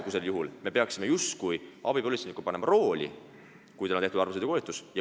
Praegu me peaksime justkui abipolitseiniku panema rooli taha, kui tal on tehtud alarmsõidukoolitus.